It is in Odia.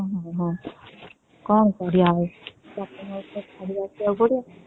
ହୁଁ ହଁ କଣ କରିବା ଆଉ ବାପା ମାଙ୍କୁ ତ ଛାଡିବାକୁ ପଡିବ